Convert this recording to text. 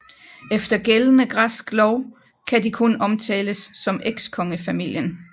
Efter gældende græsk lov kan de kun omtales som ekskongefamilien